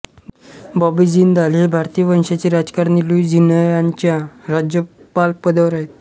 बॉबी जिंदाल हे भारतीय वंशाचे राजकारणी लुईझियानाच्या राज्यपाल पदावर आहेत